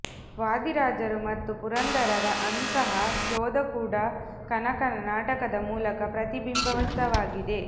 ವಾದಿರಾಜರು ಮತ್ತು ಪುರಂದರರ ಅಂತಹ ಶೋಧ ಕೂಡ ಕನಕನ ನಾಟಕದ ಮೂಲಕ ಪ್ರತಿಬಿಂಬಿತವಾಗಿದೆ